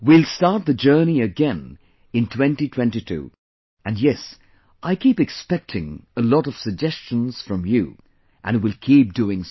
We will start the journey again in 2022 and yes, I keep expecting a lot of suggestions from you and will keep doing so